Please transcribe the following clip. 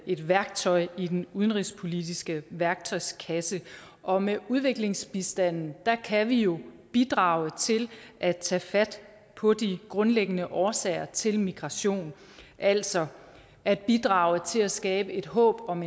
et værktøj i den udenrigspolitiske værktøjskasse og med udviklingsbistanden kan vi jo bidrage til at tage fat på de grundlæggende årsager til migration altså at bidrage til at skabe et håb om